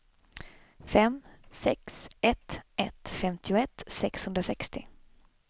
fem sex ett ett femtioett sexhundrasextio